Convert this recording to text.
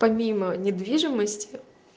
помимо недвижимость